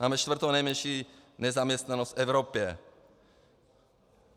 Máme čtvrtou nejmenší nezaměstnanost v Evropě.